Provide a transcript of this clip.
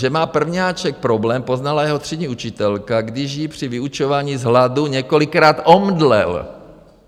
Že má prvňáček problém, poznala jeho třídní učitelka, když jí při vyučování z hladu několikrát omdlel."